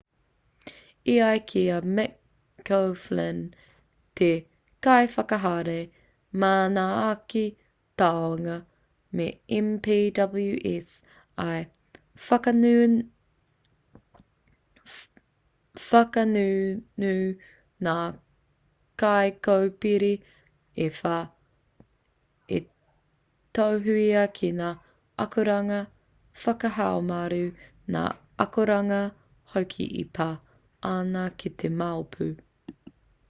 e ai ki a mick o'flynn te kaiwhakahaere manaaki tāonga me npws i whakangungu ngā kaikōpere e whā i tohua ki ngā akoranga whakahaumaru ngā akoranga hoki e pā ana ki te mau pū